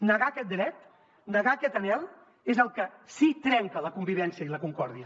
negar aquest dret negar aquest anhel és el que sí que trenca la convivència i la concòrdia